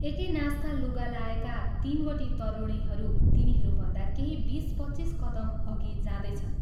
एकै नासका लुगा लाएका तीनवटी तरुणीहरू तिनीहरूभन्दा केही बीस पच्चीस कदम अघि जाँदैछन्।